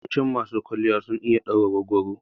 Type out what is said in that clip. Yawancin masu kwalliya sun iya ɗaura goggoro.